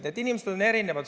Nii et inimesed on erinevad.